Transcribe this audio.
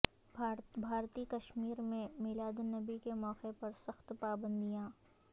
بھارتی کشمیر میں میلاد النبی کے موقع پر سخت پابندیاں